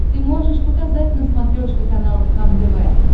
ты можешь показать на смотрешке канал кхлм тв